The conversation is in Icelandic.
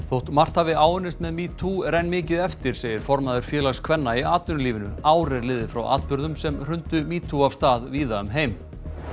þótt margt hafi áunnist með metoo er enn mikið eftir segir formaður Félags kvenna í atvinnulífinu ár er liðið frá atburðunum sem hrundu metoo af stað víða um heim